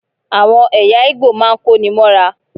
Àwọn ẹ̀yà Ìgbò máa ń kó ní móra.